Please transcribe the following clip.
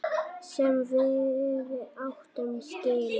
Sem við áttum skilið.